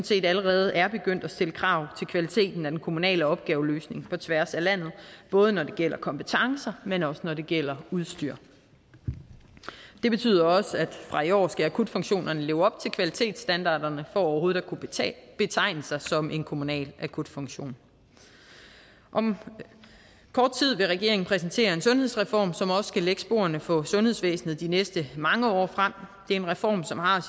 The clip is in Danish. set allerede er begyndt at stille krav til kvaliteten af den kommunale opgaveløsning på tværs af landet både når det gælder kompetencer men også når det gælder udstyr det betyder også at fra i år skal akutfunktionerne leve op til kvalitetsstandarderne for overhovedet at kunne betegne sig som en kommunal akutfunktion om kort tid vil regeringen præsentere en sundhedsreform som også skal lægge sporene for sundhedsvæsenet de næste mange år frem det er en reform som har